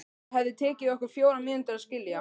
Það hefði tekið okkur fjórar mínútur að skilja.